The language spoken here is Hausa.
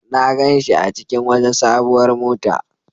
Na gan shi a cikin wata sabuwar mota.